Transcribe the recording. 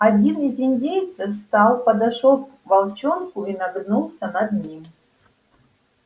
один из индейцев встал подошёл к волчонку и нагнулся над ним